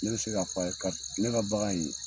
Ne be se k'a f'a ye kar ne ka bagan in